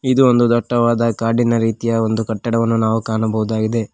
ಇದು ಒಂದು ದಟ್ಟವಾದ ಕಾಡಿನ ರೀತಿಯ ಒಂದು ಕಟ್ಟಡವನ್ನು ನಾವು ಕಾಣಬಹುದಾಗಿದೆ.